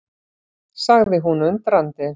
sagði hún undrandi.